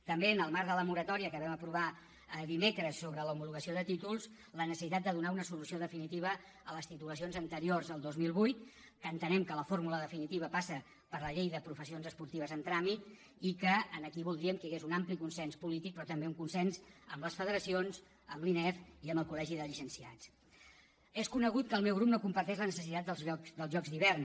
també en el marc de la moratòria que vam aprovar dimecres sobre l’homologació de títols la necessitat de donar una solució definitiva a les titulacions anteriors al dos mil vuit que entenem que la fórmula definitiva passa per la llei de les professions esportives en tràmit i que aquí voldríem que hi hagués un ampli consens polític però també un consens amb les federacions amb l’inefc i amb el col·és conegut que el meu grup no comparteix la necessitat dels jocs d’hivern